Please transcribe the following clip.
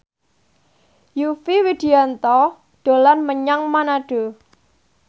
Yovie Widianto dolan menyang Manado